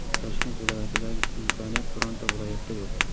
Toshkent viloyatidagi imkoniyat bironta viloyatda yo‘q.